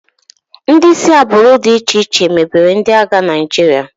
Ndị si agbụrụ dị iche iche mebere ndị agha Naịjirịa.